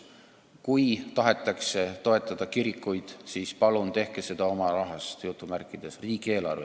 Kui tahetakse toetada kirikuid, siis palun tehke seda "oma rahast", riigieelarvest!